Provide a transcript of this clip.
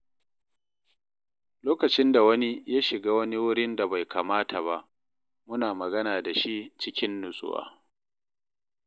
Lokacin da wani ya shiga wani wurin da bai kamata ba, muna magana da shi cikin natsuwa.